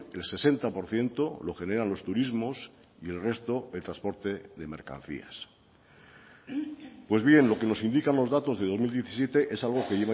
el sesenta por ciento lo generan los turismos y el resto el transporte de mercancías pues bien lo que nos indican los datos de dos mil diecisiete es algo que